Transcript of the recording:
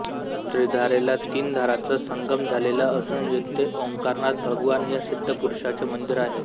ञिधारेला तीन धारांचा संगम झालेला असून येथे ओॅंकारनाथ भगवान या सिध्दपुरुषाचे मंदिर आहे